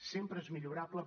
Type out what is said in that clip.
sempre és millorable